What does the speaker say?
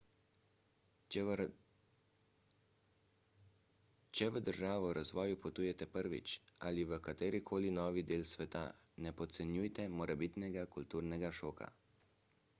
če v državo v razvoju potujete prvič – ali v katerikoli novi del sveta – ne podcenjujte morebitnega kulturnega šoka